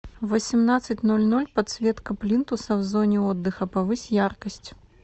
в восемнадцать ноль ноль подсветка плинтуса в зоне отдыха повысь яркость